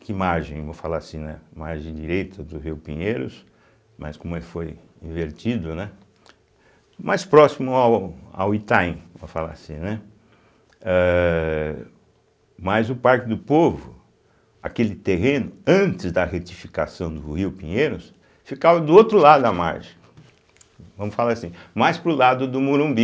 que margem, vou falar assim, né, margem direita do rio Pinheiros, mas como ele foi invertido, né, mais próximo ao ao Itaim, vou falar assim, né, eh mas o Parque do Povo, aquele terreno antes da retificação do rio Pinheiros, ficava do outro lado da margem, vamos falar assim, mais para o lado do Morumbi.